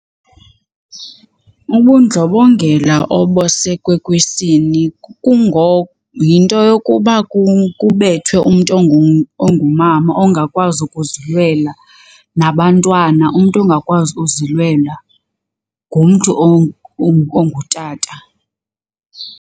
Ubundlobongela obusekwe kwisini yinto yokuba kubethwe umntu ongumama ongakwazi ukuzilwela nabantwana umntu ongakwazi ukuzilwela ngumntu ongutata.